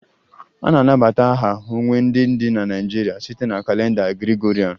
A na-anabata aha ọnwa ndị dị na Naịjirịa site na kalenda Gregorian